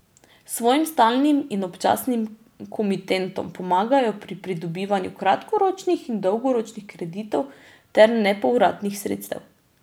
Svojim stalnim in občasnim komitentom pomagajo pri pridobivanju kratkoročnih in dolgoročnih kreditov ter nepovratnih sredstev.